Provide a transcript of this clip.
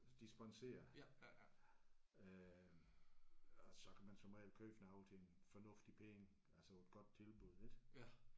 De sponserer øh og så kan man som regel købe noget til en fornuftig penge. Altså et godt tilbud ik?